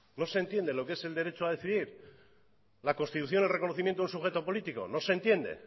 no se entiende lo que es el derecho a decidir la constitución y el reconocimiento de un sujeto político no se entiende